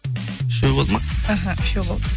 үшеу болды ма іхі үшеу болды